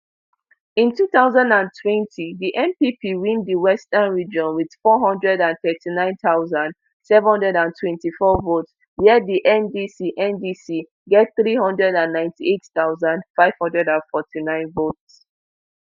in two thousand and twenty di npp win di western region wit four hundred and thirty-nine thousand, seven hundred and twenty-four votes wia di ndc ndc get three hundred and ninety-eight thousand, five hundred and forty-nine votes